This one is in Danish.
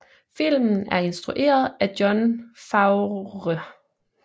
Filmen er instrueret af Jon Favreau